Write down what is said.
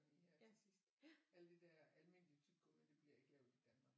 Sådan lige her til sidst alle de der almindelige tyggegummi det bliver ikke lavet i Danmark